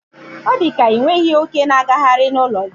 odika inweghi oke n'aghari na ulo gi a